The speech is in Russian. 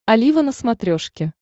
олива на смотрешке